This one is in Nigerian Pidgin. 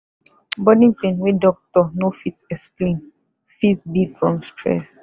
body pain wey doctor no fit explain fit be from stress.